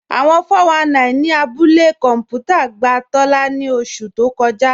Awọ́n 419 ni àbúlẹ̀ kọnpútà gbà Tóla ni ọṣu tó kọ́jà